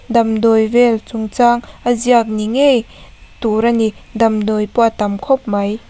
damdawi vel chung chang a ziak ni ngei tur ani damdawi pawh a tam khawp mai.